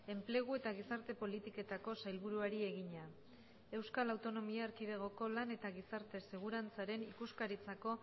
enplegu eta gizarte politiketako sailburuari egina euskal autonomia erkidegoko lan eta gizarte segurantzaren ikuskaritzako